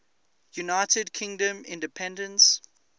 united kingdom independence